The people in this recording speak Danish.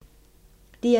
DR2